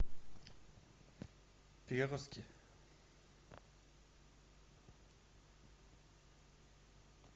переростки